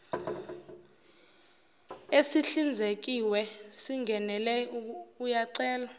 esihlinzekiwe singenele uyacelwa